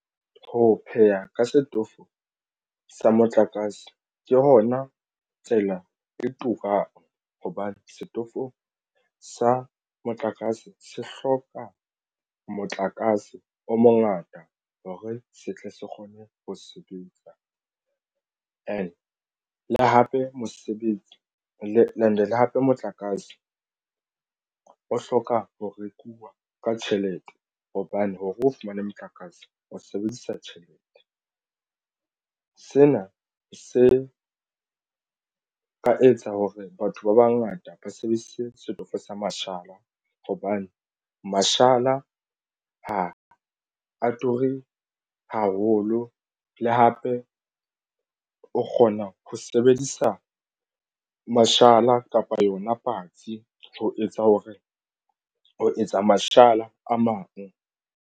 Ho pheha ka setofo sa motlakase ke hona tsela e turang hobane setofo sa motlakase se hloka motlakase o mongata hore se tle se kgone ho sebetsa hape mosebetsi le and le hape motlakase o hloka ho rekuwa ka tjhelete hobane hore o fumane motlakase o sebedisa tjhelete. Sena se ka etsa hore batho ba bangata ba sebedise setofo sa mashala hobane mashala ha a ture haholo. Le hape o kgona ho sebedisa mashala kapa yona patsi ho etsa hore ho etsa mashala a mang.